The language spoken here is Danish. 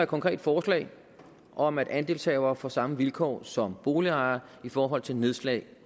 konkret forslag om at andelshavere får samme vilkår som boligejere i forhold til nedslag